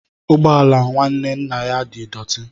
Ụgbọ ala nwanne nna ya di dọti.